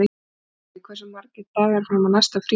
Bolli, hversu margir dagar fram að næsta fríi?